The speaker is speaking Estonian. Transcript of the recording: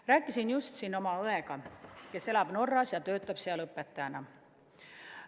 Rääkisin just oma õega, kes elab Norras ja töötab seal õpetajana.